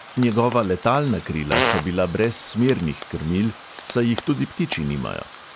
Njegova letalna krila so bila brez smernih krmil, saj jih tudi ptiči nimajo.